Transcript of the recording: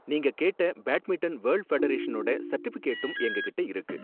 நீங்க கேட்ட badminton world ஃபெடரேஷனோட சர்டிபிகேட்டும் எங்ககிட்ட இருக்கு.